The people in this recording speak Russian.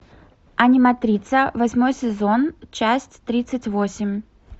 аниматрица восьмой сезон часть тридцать восемь